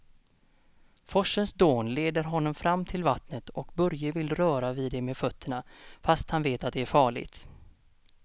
Forsens dån leder honom fram till vattnet och Börje vill röra vid det med fötterna, fast han vet att det är farligt.